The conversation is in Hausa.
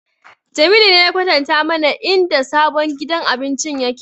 Jamilu ne ya kwatanta mana inda sabon gidan abincin yake